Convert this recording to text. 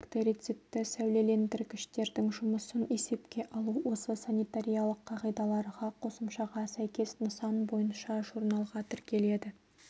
бактерицидті сәулелендіргіштердің жүмысын есепке алу осы санитариялық қағидаларға қосымшаға сәйкес нысан бойынша журналға тіркеледі